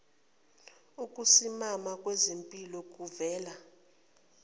ukusimama kwezimpilo kuvela